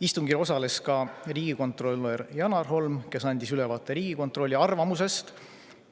Istungil osales ka riigikontrolör Janar Holm, kes andis ülevaate Riigikontrolli arvamusest